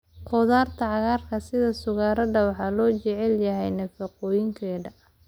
Khudaarta cagaaran sida suqaarada waxaa loo jecel yahay nafaqooyinkeeda.